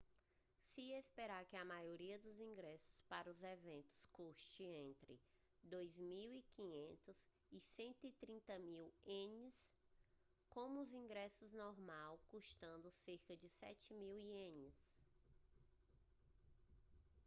se espera que a maioria dos ingressos para os eventos custe entre 2.500 e 130.000 ienes com os ingressos normais custando cerca de 7.000 ienes